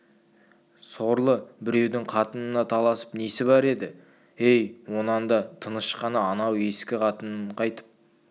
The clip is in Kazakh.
сорлы біреудің қатынына таласып несі бар еді-ей онан да тыныш қана анау ескі қатынын қайтып